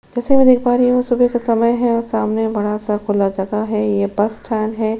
जैसे मै देख पा रही हु सुबह का समय है और सामने बड़ा सा खुला जगह है ये बस स्टैंड है।